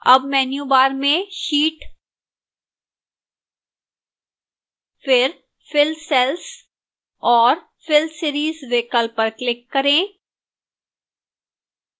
अब menu bar में sheet फिर fill cells और fill series विकल्प पर click करें